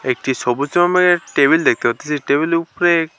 একটি সবুজ রঙের টেবিল দেখতে পারতেসি টেবিল -এর উপরে--